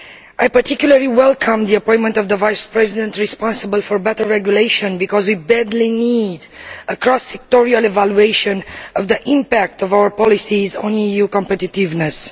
I particularly welcome the appointment of the Vice President responsible for better regulation, because we badly need a cross sectoral evaluation of the impact of our policies on EU competitiveness.